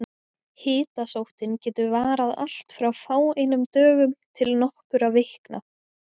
Hitasóttin getur varað allt frá fáeinum dögum til nokkurra vikna.